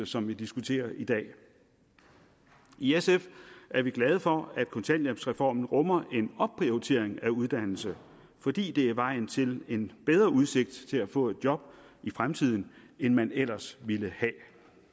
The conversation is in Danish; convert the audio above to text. som vi diskuterer i dag i sf er vi glade for at kontanthjælpsreformen rummer en opprioritering af uddannelse fordi det er vejen til en bedre udsigt til at få et job i fremtiden end man ellers ville have